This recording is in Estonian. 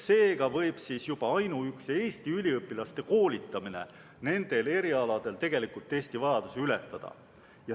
Seega võib juba ainuüksi Eesti üliõpilaste koolitamine nendel erialadel tegelikult Eesti vajadusi ületada.